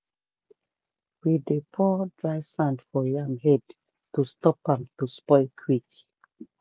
we dey pour dry sand for yam head to stop am to spoil quick.